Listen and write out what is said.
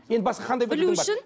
енді басқа қандай білімің бар